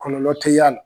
Kɔlɔlɔ tɛ y'a la